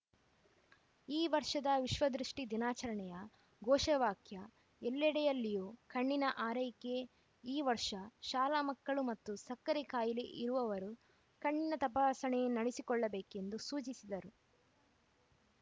ಈ ವರ್ಷದ ವಿಶ್ವದೃಷ್ಠಿ ದಿನಾಚರಣೆಯ ಘೋಷವಾಕ್ಯ ಎಲ್ಲೆಡೆಯಲ್ಲಿಯೂ ಕಣ್ಣಿನ ಆರೈಕೆ ಈ ವರ್ಷ ಶಾಲಾ ಮಕ್ಕಳು ಮತ್ತು ಸಕ್ಕರೆ ಖಾಯಿಲೆ ಇರುವವರು ಕಣ್ಣಿನ ತಪಾಸಣೆ ಮಾಡಿಸಿಕೊಳ್ಳಬೇಕೆಂದು ಸೂಚಿಸಿದರು